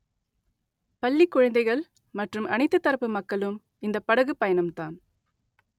பள்ளி குழந்தைகள் மற்றும் அனைத்து தரப்பு மக்களும் இந்த படகு பயணம்தான்